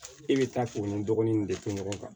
E bɛ taa fini dɔgɔnin in de fɔ ɲɔgɔn kan